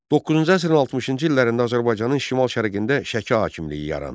9-cu əsrin 60-cı illərində Azərbaycanın şimal-şərqində Şəki hakimliyi yarandı.